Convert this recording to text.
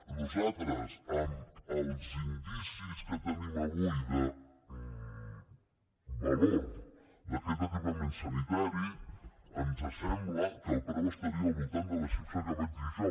a nosaltres amb els indicis que tenim avui de valor d’aquest equipament sanitari ens sembla que el preu estaria al voltant de la xifra que vaig dir jo